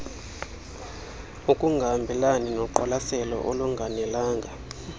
ukungahambelani noqwalaselo olunganelanga